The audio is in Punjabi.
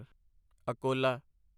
ਅਕੋਲਾ